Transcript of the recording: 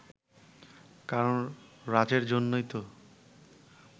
কারণ রাজের জন্যই তো